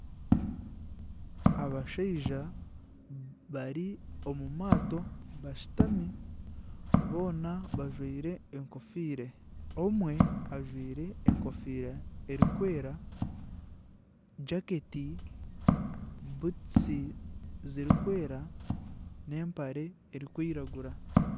Abashaija bari omu maato bashutami boona bajwire enkofira, omwe ajwaire enkofiira erikwera jaketi butusi zirikwera n'empare erikwiragura